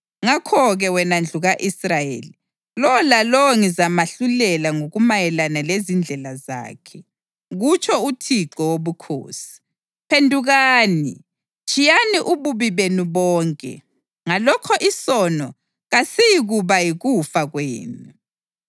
Ngakho-ke wena ndlu ka-Israyeli, lowo lalowo ngizamahlulela ngokumayelana lezindlela zakhe, kutsho uThixo Wobukhosi. Phendukani! Tshiyani ububi benu bonke; ngalokho isono kasiyikuba yikufa kwenu.